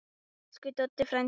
Elsku Doddi frændi.